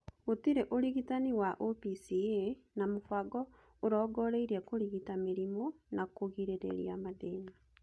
Gũtirĩ ũrigitani wa OPCA, na mũbango ũrongoreirie kũrigita mĩrimũ na kũgirĩrĩria mathĩna.